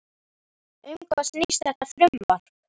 Um hvað snýst þetta frumvarp?